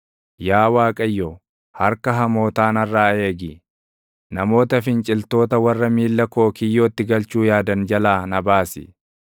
Yaa Waaqayyo, harka hamootaa narraa eegi; namoota finciltoota // warra miilla koo kiyyootti galchuu yaadan jalaa na baasi.